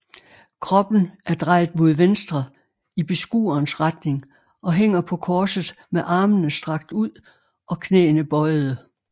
Kroppen er drejet mod venstre i beskuerens retning og hænger på korset med armene strakt ud og knæene bøjede